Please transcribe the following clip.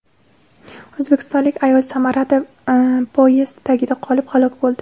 O‘zbekistonlik ayol Samarada poyezd tagida qolib, halok bo‘ldi.